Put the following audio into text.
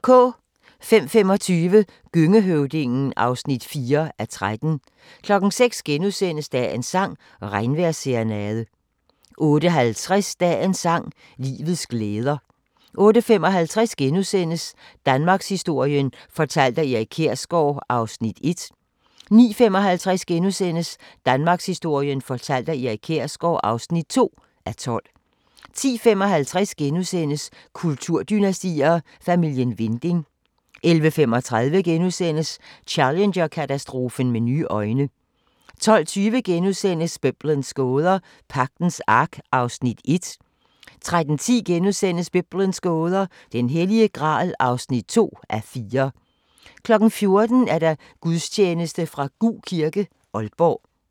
05:25: Gøngehøvdingen (4:13) 06:00: Dagens sang: Regnvejrsserenade * 08:50: Dagens sang: Livets glæder 08:55: Danmarkshistorien fortalt af Erik Kjersgaard (1:12)* 09:55: Danmarkshistorien fortalt af Erik Kjersgaard (2:12)* 10:55: Kulturdynastier: Familien Winding * 11:35: Challenger-katastrofen med nye øjne * 12:20: Biblens gåder – Pagtens Ark (1:4)* 13:10: Biblens gåder – Den Hellige Gral (2:4)* 14:00: Gudstjeneste fra Gug kirke, Aalborg